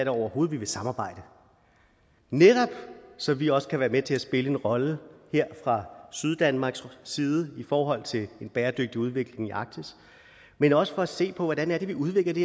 overhovedet vil samarbejde netop så vi også kan være med til at spille en rolle her fra syddanmarks side i forhold til en bæredygtig udvikling i arktis men også for at se på hvordan vi udvikler det